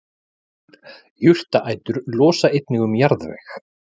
jurtaætur losa einnig um jarðveg